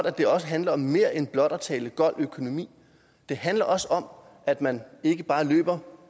at det også handler om mere end blot at tale gold økonomi det handler også om at man ikke bare løber